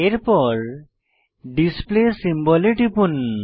এরপর display symbol এ টিপুন